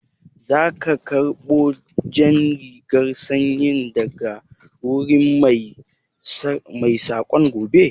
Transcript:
Za ka karɓo jan rigar sanyin daga wurin Mai saƙan gobe?